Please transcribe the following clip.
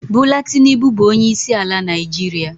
Bula Tinubu bụ onyeisiala Naịjirịa.